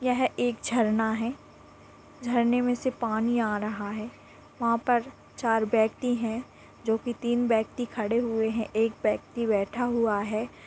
यह एक झरना है झरने मे से पानी आ रहा है वहाँ पर चार व्यक्ति है जो कि तीन व्यक्ति खड़े हुए है एक व्यक्ति बैठा हुआ है।